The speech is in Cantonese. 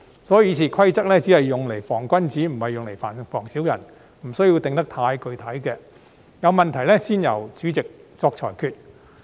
所以，《議事規則》只用來防君子，不是用來防小人，不需要訂得太具體，有問題才由主席作裁決。